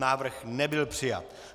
Návrh nebyl přijat.